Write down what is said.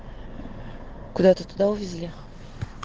куда туда увезли